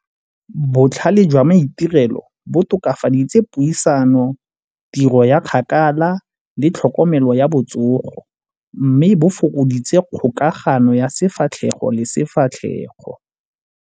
Botlhale jwa maitirelo bo tokafaditse puisano, tiro ya kgakala le tlhokomelo ya botsogo mme bo fokoditse kgokagano ya sefatlhego le sefatlhego.